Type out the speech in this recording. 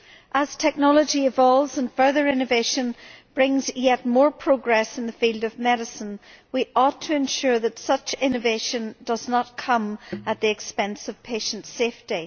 As technology evolves and further innovation brings yet more progress in the field of medicine, we ought to ensure that such innovation does not come at the expense of patients' safety.